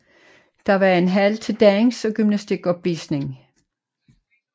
Der var en hal til dans og gymnastikopvisning